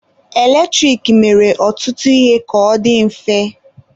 Eletrik mere ọtụtụ ihe ka ọ dị mfe.